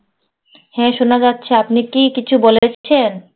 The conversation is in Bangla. হ্যাঁ শোনা যাচ্ছে, আপনি কি কিছু বলেছেন?